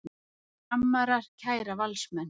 Framarar kæra Valsmenn